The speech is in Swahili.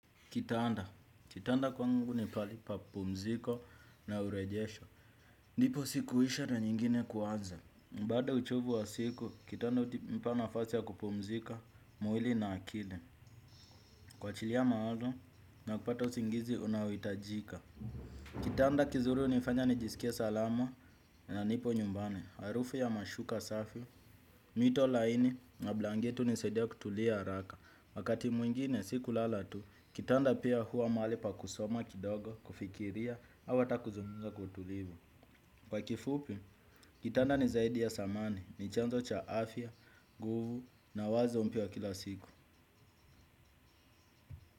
Kitanda, kitanda kwangu ni pali pa pumziko na urejesho. Ndipo siku uisha na nyingine kuanza. Mbaada ya uchovu wa siku, kitanda utipa nafasi ya kupumzika, mwili na akili. Kuwachilia mawazo, na kupata usingizi, unaoitajika. Kitanda kizuri unifanya nijisikie salama na nipo nyumbani. Harufu ya mashuka safi, mito laini, na blangeti unisaidia kutulia araka. Wakati mwingine si kulala tu, kitanda pia huwa mahali pa kusoma kidogo, kufikiria, au ata kuzungumza kwa utulivu. Kwa kifupi, kitanda ni zaidi ya samani, ni chanzo cha afya, nguvu na wazo mpya wa kila siku.